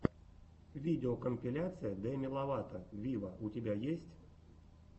видеокомпиляция деми ловато виво у тебя есть